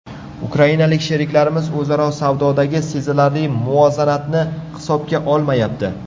Ukrainalik sheriklarimiz o‘zaro savdodagi sezilarli nomuvozanatni hisobga olmayapti.